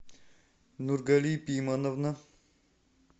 нургали пимановна